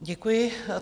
Děkuji.